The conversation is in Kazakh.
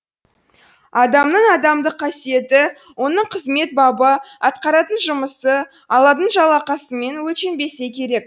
адамның адамдық қасиеті оның қызмет бабы атқаратын жұмысы алатын жалақысымен өлшенбесе керек